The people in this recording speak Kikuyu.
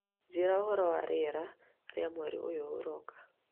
Njĩĩra ũhoro wa rĩera rĩa mweri ũyũ ũroka.